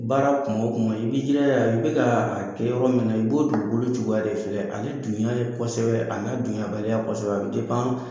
Baara kuma o kuma i b'i jila ja, i bɛk'a kɛ yɔrɔ min na, i b'o dugukolo cogoya de filɛ, ale dunya kosɛbɛ, a n'a dunya baliya kosɛbɛ a bɛ